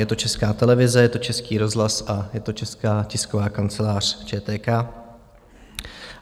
Je to Česká televize, je to Český rozhlas a je to Česká tisková kancelář, ČTK.